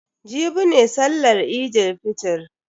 Jibi ne sallan Eid fitr.